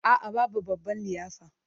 A'a, babu babban liyafa.